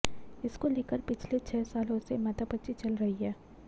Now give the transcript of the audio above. इसको लेकर पिछले छह सालों से माथापच्ची चल रही है